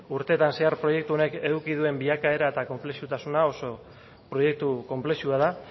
urteetan zehar proiektu honek eduki duen bilakaera eta konplexutasuna oso proiektu konplexua da